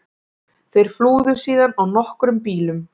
Þeir flúðu síðan á nokkrum bílum